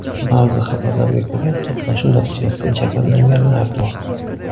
Ba’zi xabarlarga ko‘ra, to‘qnashuv natijasida jabrlanganlar bor.